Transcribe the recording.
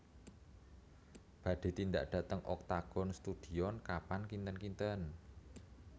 Badhe tindak dhateng Octagon Studion kapan kinten kinten